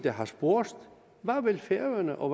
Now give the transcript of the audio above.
har spurgt hvad vil færøerne og